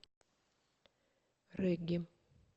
регги